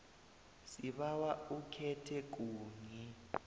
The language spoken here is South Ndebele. sibawa ukhethe kunye